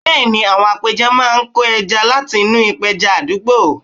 Bẹ́ẹ̀ ni, àwọn apẹja máa ń kó ẹja láti inú ìpẹja àdúgbò